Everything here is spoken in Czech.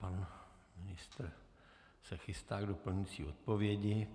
Pan ministr se chystá k doplňující odpovědi.